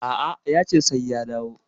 A'a, yace sai ya dawo.